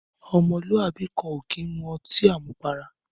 Ọmọ lú àbí kàn ò kiń mú ọti àmúpàrá